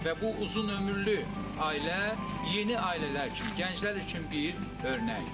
Və bu uzunömürlü ailə yeni ailələr üçün, gənclər üçün bir örnəkdir.